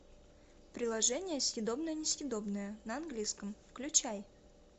приложение съедобное несъедобное на английском включай